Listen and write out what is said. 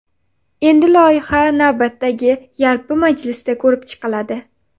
Endi loyiha navbatdagi yalpi majlisda ko‘rib chiqiladi.